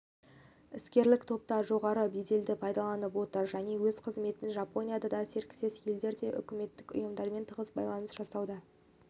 іскерлік топта жоғары беделді пайдаланып отыр және өз қызметінде жапонияда да серіктес елдерде де үкіметтік ұйымдармен тығыс байланыс жасауда